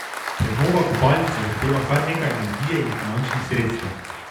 Prenova kopalnice zahteva kar nekaj energije in finančnih sredstev.